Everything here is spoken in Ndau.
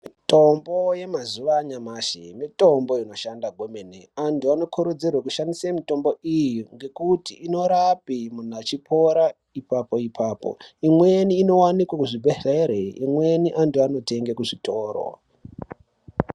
Mitombo yemazuwa anyamashi, mitombo inoshanda kwemene. Antu anokurudzirwe kushandise mitombo iyi, ngekuti inorape munhu achipora ipapo-ipapo. Imweni inowanikwe kuzvibhedhlere imweni antu anotenge kuzvitoro.